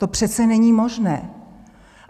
To přece není možné.